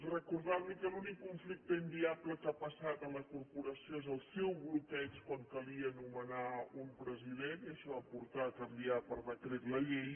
recordar li que l’únic conflicte inviable que ha passat a la corporació és el seu bloqueig quan calia nomenar un president i això va portar a canviar per decret la llei